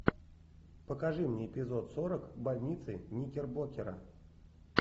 покажи мне эпизод сорок больницы никербокера